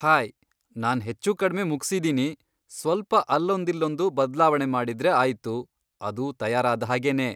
Hi, ನಾನ್ ಹೆಚ್ಚುಕಡ್ಮೆ ಮುಗ್ಸಿದೀನಿ, ಸ್ವಲ್ಪ ಅಲ್ಲೊಂದಿಲ್ಲೊಂದು ಬದ್ಲಾವಣೆ ಮಾಡಿದ್ರೆ ಆಯ್ತು, ಅದು ತಯಾರಾದ್ಹಾಗೇನೇ.